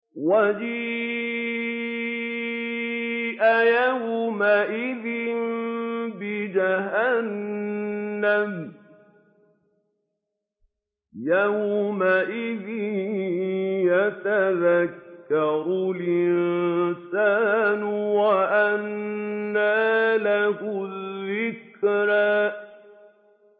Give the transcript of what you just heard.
وَجِيءَ يَوْمَئِذٍ بِجَهَنَّمَ ۚ يَوْمَئِذٍ يَتَذَكَّرُ الْإِنسَانُ وَأَنَّىٰ لَهُ الذِّكْرَىٰ